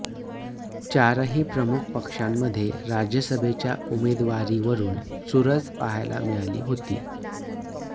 चारही प्रमुख पक्षांमध्ये राज्यसभेच्या उमेदवारीवरुन चुरस पाहायला मिळाली होती